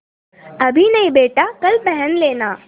अभी नहीं बेटा कल पहन लेना